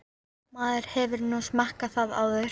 Maður hefur nú smakkað það áður.